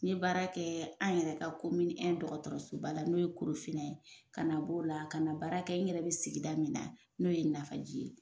N ye baara kɛ an yɛrɛ ka komini dɔgɔtɔrɔsoba la n'o ye Korofinna ye ka na b'o la ka baara kɛ n yɛrɛ bɛ sigida min na n'o ye Nafaji ye.